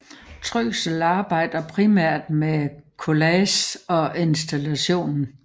Støckel arbejder primært med collage og installation